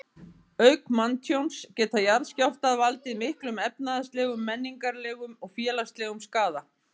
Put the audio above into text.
Auk manntjóns geta jarðskjálftar valdið miklum efnahagslegum, menningarlegum og félagslegum skaða.